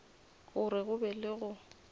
gore go be le go